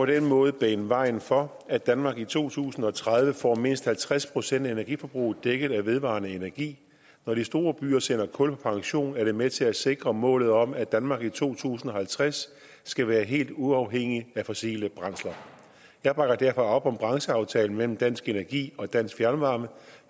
den måde banet vejen for at danmark i to tusind og tredive får mindst halvtreds procent af energiforbruget dækket af vedvarende energi når de store byer sender kul på pension er det med til at sikre målet om at danmark i to tusind og halvtreds skal være helt uafhængigt af fossile brændsler jeg bakker derfor op om brancheaftalen mellem dansk energi og dansk fjernvarme